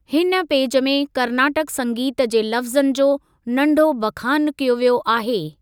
हिन पेज में कर्नाटक संगीत जे लफ्ज़नि जो नंढो बखानु कयो वियो आहे।